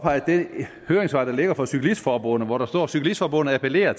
det høringssvar der ligger fra cyklistforbundet hvor der står cyklistforbundet appellerer